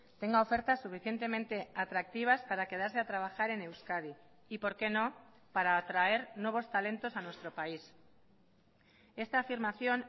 tenga ofertas suficientemente atractivas para quedarse a trabajar en euskadi y por qué no para atraer nuevos talentos a nuestro país esta afirmación